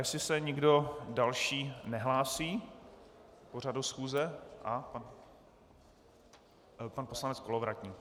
Jestli se nikdo další nehlásí k pořadu schůze - pan poslanec Kolovratník.